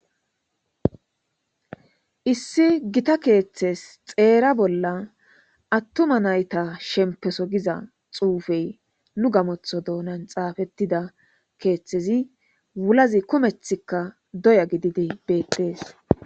issi gita keeththes xeera bolla attuma nayta shempeso giza xuufey nu gamotho doonan xaafettida keeththezi wulazi kumethikka doya gidide beexees